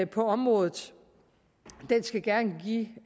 på området den skal gerne give